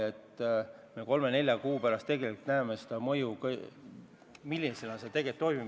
Eks me kolme-nelja kuu pärast näeme seda mõju, milline see tegelikult on.